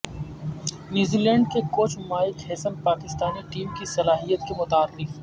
New Zealand کے coach Mike Hesson Pakistani team کی صلاحیت کے معترف ہیں